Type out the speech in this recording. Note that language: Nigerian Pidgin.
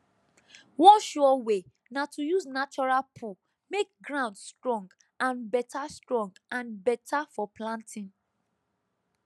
one sure way na to use natural poo make ground strong and better strong and better for planting